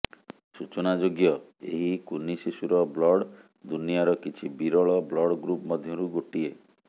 ସୂଚନାଯୋଗ୍ୟ ଏହି କୁନି ଶିଶୁର ବ୍ଲଡ ଦୁନିଆର କିଛି ବିରଳ ବ୍ଲଡ ଗ୍ରୁପ୍ ମଧ୍ୟରୁ ଗୋଟିଏ